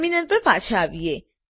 terminal પર પાછા આવીએ